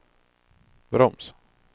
broms